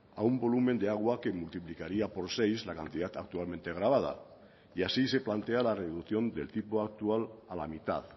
a un volumen de agua que multiplicaría por seis la cantidad actualmente gravada y así se plantea la reducción del tipo actual a la mitad